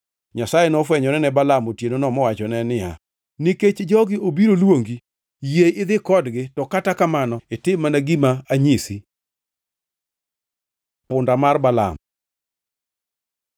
Nyasaye nofwenyore ne Balaam otienono mowachone niya, “Nikech jogi obiro luongi, yie idhi kodgi, to kata kamano itim mana gima anyisi.” Punda mar Balaam